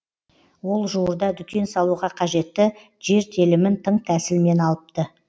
ол жуырда дүкен салуға қажетті жер телімін тың тәсілмен алыпты